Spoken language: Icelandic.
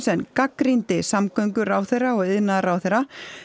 en gagnrýndi samgönguráðherra og iðnaðarráðherra